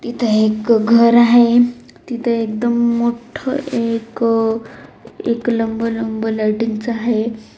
इथे एक घर आहे इथ एकदम मोठ एक एक लंब लंब लायटिंग च आहे.